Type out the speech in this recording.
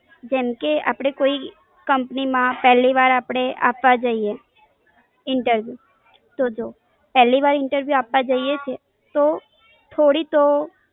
જેમ કે આપણે કોઈ કંપનીમાં પેલી વાર આપવા જઈએ the interview, તો જો પેલી વાર the interview આપવા જઈએ છે, તો થોડી તો